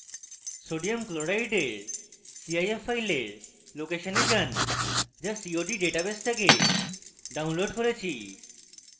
sodium chloride cif file লোকেশনে যান যা cod ডাটাবেস থেকে ডাউনলোড করেছি